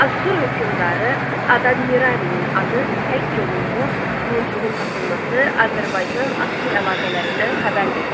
Asur hökmdarı Adad-nirarinin adı həkk olunmuş muncuğun tapılması Azərbaycan-Asur əlaqələrindən xəbər verir.